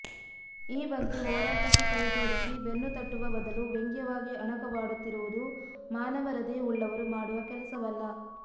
ಈ ಬಗ್ಗೆ ಹೋರಾಟಕ್ಕೆ ಕೈ ಜೋಡಿಸಿ ಬೆನ್ನು ತಟ್ಟುವ ಬದಲು ವ್ಯಂಗ್ಯವಾಗಿ ಅಣಕವಾಡುತ್ತಿರುವುದು ಮಾನವ ಹೃದಯವುಳ್ಳವರು ಮಾಡುವ ಕೆಲಸವಲ್ಲ